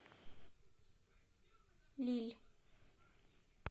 лилль